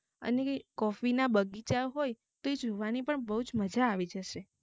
અને coffee બગિચા હોય તો એ જોવાની બોવજ આવી જશે